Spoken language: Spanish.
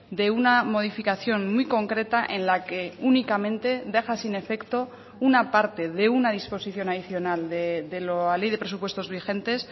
de una modificación muy concreta en la que únicamente deja sin efecto una parte de una disposición adicional de la ley de presupuestos vigentes